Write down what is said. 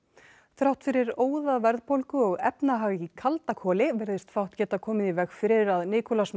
þrátt fyrir óðaverðbólgu og efnahag í kalda koli virðist fátt geta komið í veg fyrir að